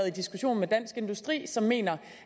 en diskussion med dansk industri som mener